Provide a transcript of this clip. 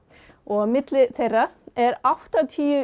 og á milli þeirra er áttatíu